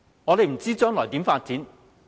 我們不知道將來如何發展？